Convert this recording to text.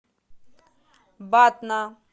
батна